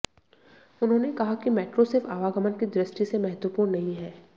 उन्होंने कहा कि मेट्रो सिर्फ आवागमन की दृष्टि से महत्वपूर्ण नहीं है